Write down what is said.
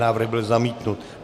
Návrh byl zamítnut.